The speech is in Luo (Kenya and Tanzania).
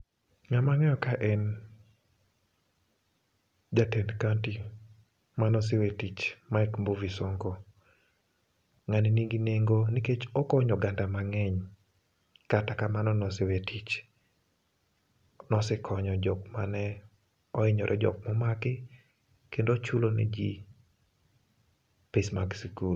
Ng'amang'eyo ka en jatend kaonti manosewe tich, Mike Mbuvi Sonko. Ng'ani nigi nengo nikech okonyo oganda mang'eny, kata kamano nosewe tich. Nosekonyo jok mane ohinyore jok momaki, kendo ochulo ne ji pes mag sikul.